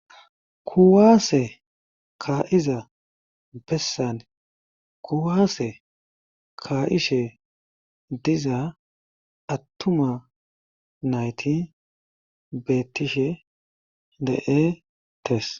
kuwaase ka7iza bessane kuwaase kaa7ishe diza attuma nayti bettishe de7e tes